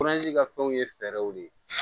ka fɛnw ye fɛɛrɛw de ye